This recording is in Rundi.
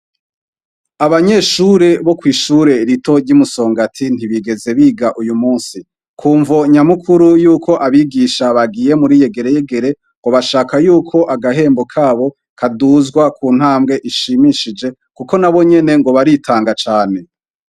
Abanyeshure bo kw'ishure rito ry'i Musongati ntibigeze biga uyu munsi. Ku mvo nyamukuru y'uko abigisha bagiye muri yegereyegere ngo bashaka yuko agahembo kabo kaduzwa ku ntambwe ishimishije kuko ngo nabo nyene ngo baritanga cane.